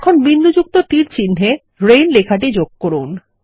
এখন বিন্দুযুক্ত তীরচিহ্ন এ রেইন লেখাটি যোগ করুন